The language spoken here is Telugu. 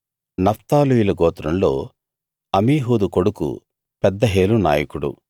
నఫ్తాలీయుల గోత్రంలో అమీహూదు కొడుకు పెదహేలు నాయకుడు